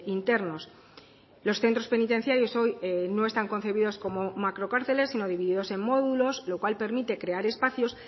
internos los centros penitenciarios hoy no están concebidos como macrocárceles sino divididos en módulos lo cual permite crear espacios